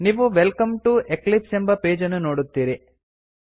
ನೀವು welcome to Eclipse ಎಂಬ page ಅನ್ನು ನೋಡುತ್ತೀರಿ